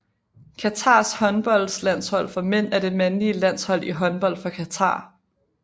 Qatars håndboldlandshold for mænd er det mandlige landshold i håndbold for Qatar